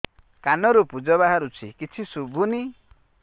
କାନରୁ ପୂଜ ବାହାରୁଛି କିଛି ଶୁଭୁନି